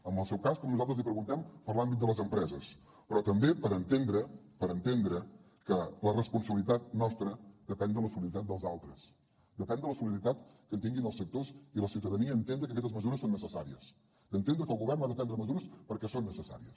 en el seu cas com nosaltres li preguntem per l’àmbit de les empreses però també per entendre que la responsabilitat nostra depèn de la solidaritat dels altres depèn de la solidaritat que tinguin els sectors i la ciutadania d’entendre que aquestes mesures són necessàries d’entendre que el govern ha de prendre mesures perquè són necessàries